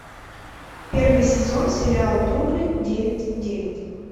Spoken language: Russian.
первый сезон сериал бруклин девять девять